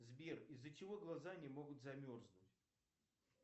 сбер из за чего глаза не могут замерзнуть